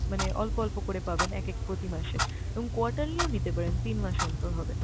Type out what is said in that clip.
মানে অল্প অল্প করে পাবেন এক এক প্রতি মাসে। এবং quarterly ও নিতে পারেন, তিন মাস অন্তর হবে।